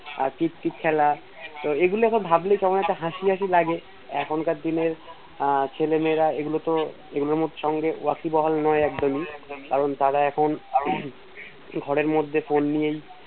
tick খেলা এগুলোতো ভাবলে কেমন একটা হাসি হাসি লাগে এখনকার দিনে আহ ছেলে মেয়েরা এগুলোর সঙ্গে বেরিবহুল নেই একদমই কারণ তারা এখন ঘরের মধ্যে Phone নিয়ে আহ